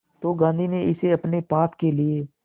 तो गांधी ने इसे अपने पाप के लिए